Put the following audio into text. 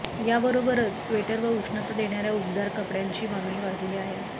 याबरोबरच स्वेटर व उष्णता देणार्या उबदार कपड्यांची मागणी वाढली आहे